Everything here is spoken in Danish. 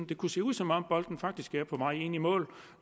det kunne se ud som om bolden faktisk er på vej ind i mål